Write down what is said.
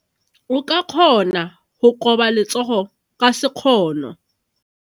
O ka kgona go koba letsogo ka sekgono.